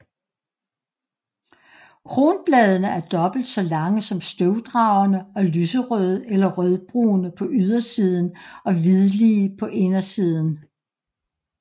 Kronbladene er dobbelt så lange som støvdragerne og lyserøde eller rødbrune på ydersiden og hvidlige på indersiden